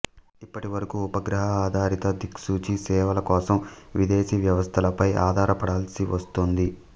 ఇప్పటివరకు ఉపగ్రహ ఆధారిత దిక్సూచి సేవలకోసం విదేశీ వ్యవస్థలపై ఆధారపడాల్సి వస్తోంది